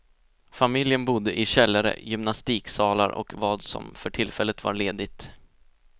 Familjen bodde i källare, gymnastiksalar och vad som för tillfället var ledigt.